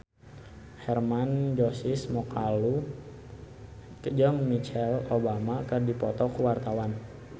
Hermann Josis Mokalu jeung Michelle Obama keur dipoto ku wartawan